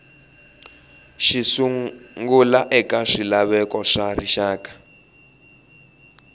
xisungla eka swilaveko swa rixaka